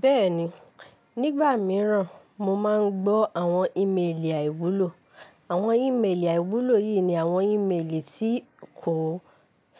Bẹ́ẹ̀ni, nígbà mìíràn mo máa ń gbọ́ àwọn ímélì àìwúlò. Àwọn ímélì àìwúlò yìí ni àwọn ímélì tí kò